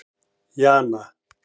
Jana